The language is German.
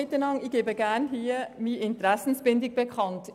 Ich gebe an dieser Stelle gerne meine Interessenbindung bekannt.